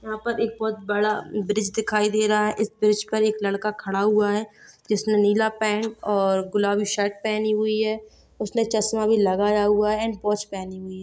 यहाँ पर एक बहुत बड़ा ब्रिज दिखाई दे रहा है| इस ब्रिज पर एक लड़का खड़ा हुआ है जिसने नीला पैंट और गुलाबी शर्ट पहनी हुई है| उसने चश्मा भी लगाया हुआ है वॉच पहनी हुई है।